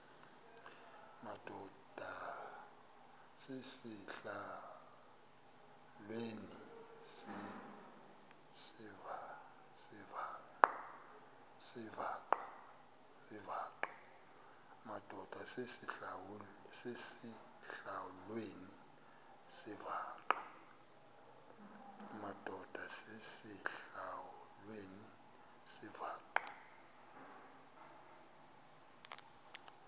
madod asesihialweni sivaqal